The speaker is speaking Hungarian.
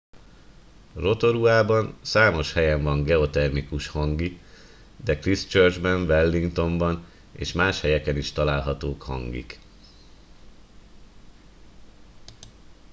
rotoruában számos helyen van geotermikus hangi de christchurchben wellingtonban és más helyeken is találhatók hangik